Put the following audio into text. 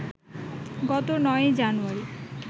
গত ৯ জানুয়ারি